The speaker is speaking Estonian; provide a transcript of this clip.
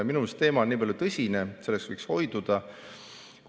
Minu meelest on teema niipalju tõsine, et sellest võiks hoiduda.